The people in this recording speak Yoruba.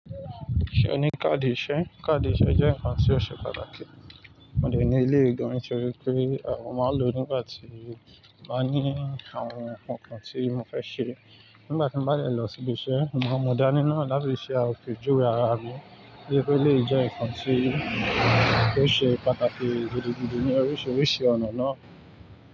Ṣé o ní káàdì iṣẹ́? Káàdì iṣẹ́ jẹ́ ǹkan tí ó ṣe pàtàkì. Mo dè ní eleyi gan nítorípé mo máa ń lò nígbà tí mba ní àwọn ǹnkan kan tí mo fẹ́ ṣe. Nígbà tí mbá dẹ̀ lọ sí ibi'ṣẹ́, mo máa mú dání náà láti fi ṣe àpe juwe ara mi. Ó yẹ ki elèyi jẹ́ ǹnkan tí ó ṣe pàtàkì gidigidi ní oríṣiríṣi ọ̀nà náà.